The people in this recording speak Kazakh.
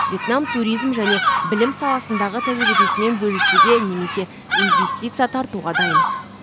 вьетнам туризм және білім саласындағы тәжірибесімен бөлісуге немесе инвестиция тартуға дайын